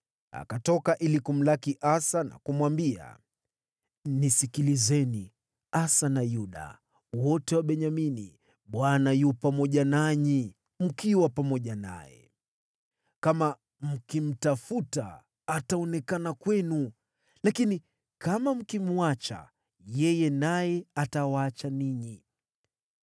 Akatoka ili kumlaki Asa na kumwambia, “Nisikilizeni, Asa na Yuda wote na Benyamini. Bwana yu pamoja nanyi mkiwa pamoja naye. Kama mkimtafuta, ataonekana kwenu, lakini kama mkimwacha yeye, naye atawaacha ninyi.